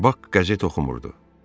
Bak qəzet oxumurdu.